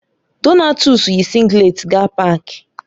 Donatus yi singleti gaa pááki